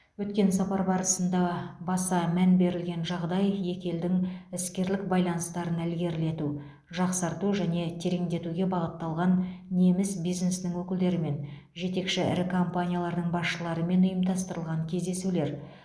өткен сапар барысында баса мән берілген жағдай екі елдің іскерлік байланыстарын ілгерілету жақсарту және тереңдетуге бағытталған неміс бизнесінің өкілдерімен жетекші ірі компаниялардың басшыларымен ұйымдастырылған кездесулер